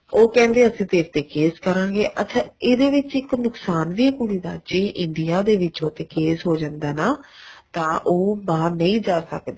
ਉਹ ਕਹਿੰਦੇ ਅਸੀਂ ਤੇਰੇ ਤੇ case ਕਰਾਗੇ ਅੱਛਾ ਇਹਦੇ ਵਿੱਚ ਇੱਕ ਨੁਕਸ਼ਾਨ ਵੀ ਏ ਕੁੜੀ ਦਾ ਜ਼ੇ India ਦੇ ਵਿੱਚ ਉਹਦੇ case ਹੋ ਜਾਂਦਾ ਏ ਨਾ ਤਾਂ ਉਹ ਬਾਹਰ ਨਹੀਂ ਜਾ ਸਕਦੀ